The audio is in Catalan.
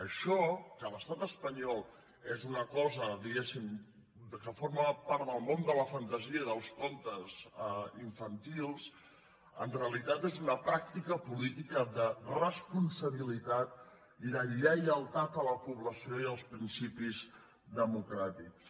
això que a l’estat espanyol és una cosa diguemne que forma part del món de la fantasia i dels contes infantils en realitat és una pràctica política de responsabilitat i de lleialtat a la població i als principis democràtics